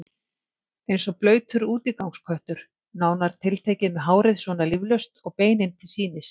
Eins og blautur útigangsköttur, nánar tiltekið, með hárið svona líflaust og beinin til sýnis.